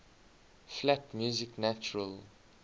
flat music natural